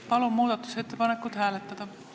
Palun seda muudatusettepanekut hääletada!